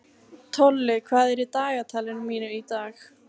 Tolli, hvað er í dagatalinu mínu í dag?